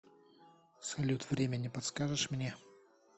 салют время не подскажешь мне